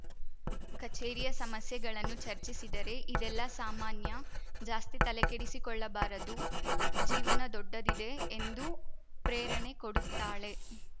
ಕಚೇರಿಯ ಸಮಸ್ಯೆಗಳನ್ನು ಚರ್ಚಿಸಿದರೆ ಇದೆಲ್ಲಾ ಸಾಮಾನ್ಯ ಜಾಸ್ತಿ ತಲೆಕೆಡಿಸಿಕೊಳ್ಳಬಾರದು ಜೀವನ ದೊಡ್ಡದಿದೆ ಎಂದು ಪ್ರೇರಣೆ ಕೊಡುತ್ತಾಳೆ